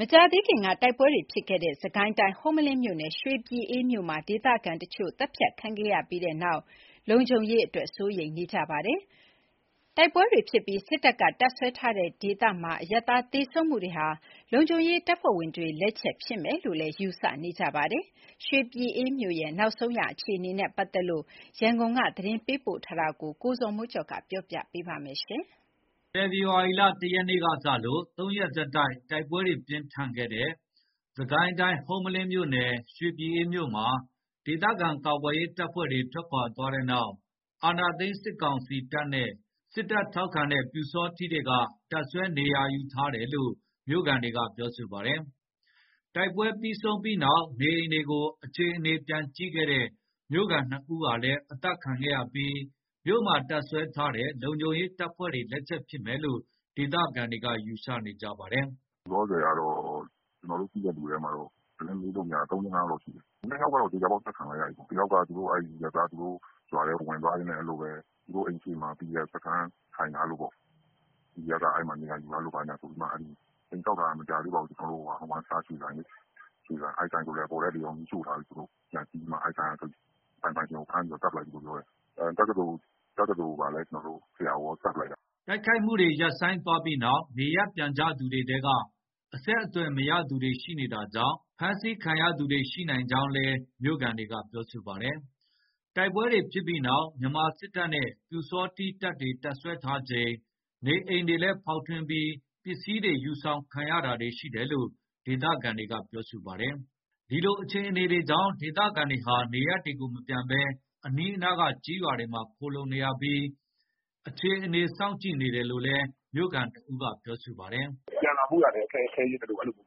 မကြာသေးခင်ကတိုက်ပွဲတွေဖြစ်ခဲ့တဲ့ စစ်ကိုင်းတိုင်း ဟုမ္မလင်းမြို့နယ် ရွှေပြည်အေးမြို့မှာ ဒေသခံတချို့ သတ်ဖြတ်ခံခဲ့ရပြီးနောက် လုံခြုံရေးအတွက် စိုးရိမ်နေကြပါတယ်။ တိုက်ပွဲတွေဖြစ်ပြီး စစ်တပ်ကတပ်စွဲထားတဲ့ဒေသမှာ အရပ်သားတွေသေဆုံးမှုဟာ လုံခြုံရေးတပ်ဖွဲ့ဝင်တွေလက်ချက်ဖြစ်မယ်လို့လည်း ယူဆနေကြပါတယ်။ ရွှေပြည်အေးမြို့ရဲ့နောက်ဆုံးအခြေအနေနဲ့ ပတ်သက်လို့ ရန်ကုန်ကနေ သတင်းပေးပို့ထားတာကို ကိုဇော်မိုးကျော်ကတင်ပြပေးထားပါတယ်။ ဖော်ဖော်ဝါရီ ၁ ရက်ကစလို့ ၃ ရက် ဆက်တိုက် တိုက်ပွဲပြင်းထန်ခဲ့တဲ့ စစ်ကိုင်းတိုင်း ဟုမ္မလင်းမြို့နယ် ရွှေပြည်အေးမြို့မှာ ဒေသခံကာကွယ်ရေး တပ်ဖွဲ့တွေ ထွက်ခွါသွားတဲ့နောက် မြန်မာစစ်တပ်နဲ့ စစ်တပ်ထောက်ခံတဲ့ပျူစောထီးတွေက တပ်စွဲနေရာယူထားတယ်လို့ မြို့ခံတွေက ပြောပါတယ်။ တိုက်ပွဲတွေပြီးဆုံးတဲ့နောက် နေအိမ်ကို အခြေအနေပြန်ကြည့်တဲ့ မြို့ခံ ၂ ဦးဟာလည်း အသတ်ခံခဲ့ရပြီး မြို့မှာတပ်စွဲထားတဲ့ လုံခြုံရေးတပ်ဖွဲ့တွေ လက်ချက်ဖြစ်မယ်လို့လည်း ဒေသခံတွေက ယူဆနေကြပါတယ်။ “လောလောဆယ် ကျနော်တို့သိတဲ့သူထဲမှာ သတင်းမေးလို့မရတာ ၃/၄/၅ ယောက်ရှိတယ်။ ၂ ယောက်က သေချာပေါက် အသတ်ခံလိုက်ရပြီပေါ့။ ၁ ယောက်က သူတို့ ရွာထဲကိုဝင်သွားရင်းနဲ့ သူတို့အိမ်ရှေ့မှာ PDF စခန်း ထိုင်ထားလို့ပေါ့။ PDF က အဲ့မှာ နေရာယူထားလို့ ဘာညာဆိုပြီးမှ အိမ်ဆောက်ထားတာတောင် မကြာသေးပါဘူး။ ကျနော်တို့ဆီက One Star ရွှေဆိုင်လေ။ အဲ့ဆိုင်ဆိုလည်း အပေါ်ထပ်တွေ မီးရှို့ထားတယ်။ သူတို့ပြန်စီးပြီးမှ အဲ့ဆိုင်က ဆိုင်ပိုင်ရှင်ကိုဖမ်းပြီး သတ်ပလိုက်ပြီပြောတယ်။ တက္ကသိုလ်ဆရာ၊ အဲ့ဆရာကိုလည်း သတ်ပလိုက်တယ်။” တိုက်ခိုက်မှုတွေရပ်ဆိုင်းသွားပြီးနောက် နေရပ်ပြန်ကြသူတွေထဲက အဆက်သွယ်မရသူတွေရှိနေတာကြောင့် ဖမ်းဆီးခံရသူတွေ ရှိနိုင်ကြောင်းလည်း မြို့ခံတွေက ပြောပါတယ်။ တိုက်ပွဲတွေဖြစ်ပြီးနောက် မြန်မာစစ်တပ်နဲ့ပျူစောထီးတွေ တပ်စွဲထားချိန် နေအိမ်တွေလည်းဖောက်ထွင်းပြီး ပစ္စည်းတွေယူဆောင်ခံရတာတွေရှိတယ်လို့ ဒေသခံတွေက ပြောပါတယ်။ ဒီလိုအခြေအနေတွေကြောင့် ဒေသခံတွေဟာ နေရပ်တွေကိုမပြန်ဘဲ အနီးနားက ကျေးရွာတွေမှာခိုလှုံနေရပြီး အခြေအနေစောင့်ကြည့်နေတယ်လို့လည်း မြို့ခံတဦးက အခုလို ပြောပါတယ်။ “ပြန်လာဖို့ရာလည်း ခဲယဉ်းသလို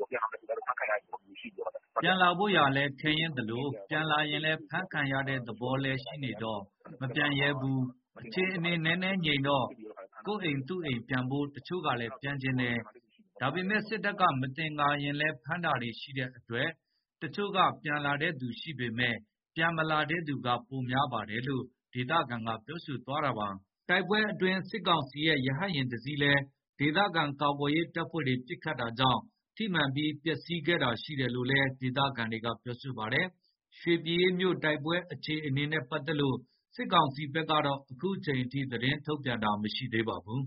ပြန်လာရင်လည်း အဖမ်းခံရတဲ့သဘောလည်းရှိနေတော့ မပြန်လာရဲဘူး။ အခုအခြေအနေနည်းနည်းငြိမ်တော့ ကိုယ့်အိမ်သူ့အိမ် ပြန်ဖို့ တချို့က ပြန်ချင်တယ်။ ဒါပေမယ့် စစ်တပ်ကမသင်္ကာရင်ဖမ်း၊ အဲ့လိုတွေဖမ်းတာရှိတယ်။ အဲ့လိုဖြစ်နေတာ။ အဲ့ဒါကြောင့် တချို့က ပြန်လာတဲ့သူရှိပေမယ့် မပြန်လာတဲ့သူက ပိုများတယ်။” တိုက်ပွဲအတွင်း စစ်ကောင်စီရဲ့ ရဟတ်ယာဉ် ၁ စီးလည်း ဒေသခံကာကွယ်ရေးတပ်ဖွဲ့တွေ ပစ်ခတ်တာကြောင့် ထိမှန်ပြီး မီးလောင်ကျွမ်းတာရှိခဲ့တယ်လို့လည်း ဒေသခံတွေက ပြောပါတယ်။ ရွှေပြည်အေးမြို့ တိုက်ပွဲအခြေအနေနဲ့ ပတ်သက်လို့ စစ်ကောင်စီဘက်ကတော့ အခုချိန်ထိ သတင်းထုတ်ပြန်တာ မရှိသေးပါဘူး